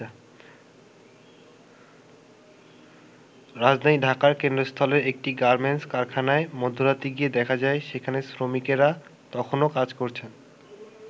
রাজধানী ঢাকার কেন্দ্রস্থলের একটি গার্মেন্টস কারখানায় মধ্যরাতে গিয়ে দেখা যায় সেখানে শ্রমিকেরা তখনও কাজ করছেন।